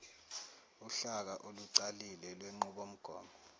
uhlaka olucacile lwenqubomgomo